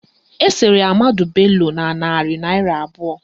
Esere Ahmadu Bello na narị naịra abụọ